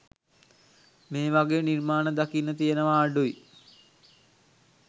මේ වගේ නිර්මාණ දකින්න තියනවා අඩුයි